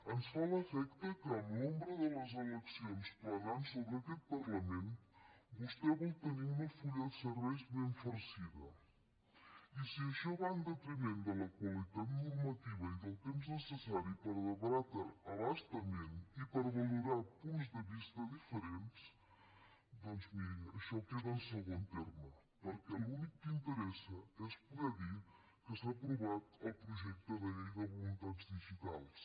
ens fa l’efecte que amb l’ombra de les eleccions planant sobre aquest parlament vostè vol tenir un full de serveis ben farcit i si això va en detriment de la qualitat normativa i del temps necessari per debatre a bastament i per valorar punts de vista diferents doncs miri això queda en segon terme perquè l’únic que interessa és poder dir que s’ha aprovat el projecte de llei de voluntats digitals